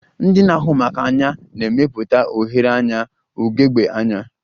Ndị na-ahụ maka anya na-emepụta oghere anya ugegbe anya